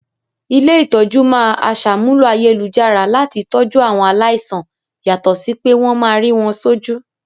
Ilé-ìtójú máa aṣàmúlò ayélujára láti tọjú àwọn aláìsàn yàtọ̀ sí pé wọ́n máa rí wọ́n sójú